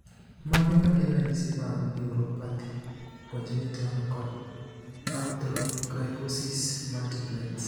Mage magin ranyisi mag Neuropathy, congenital, kod arthrogryposis multiplex?